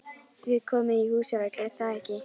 Þið komið í Húsafell, er það ekki?